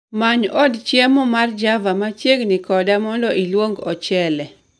Many od chiemo mar java machiegni koda mondo iluong ochele